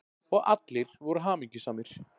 Og allir voru hamingjusamir.